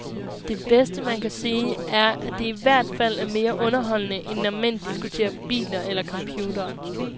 Det bedste, man kan sige, er at det ihvertfald er mere underholdende, end når mænd diskuterer biler eller computere.